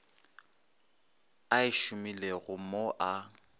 a e šomilego mo a